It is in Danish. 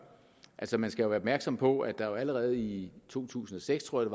altså man skal jo være opmærksom på at der allerede i to tusind og seks tror